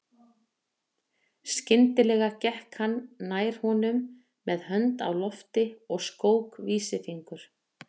Skyndilega gekk hann nær honum með hönd á lofti og skók vísifingur.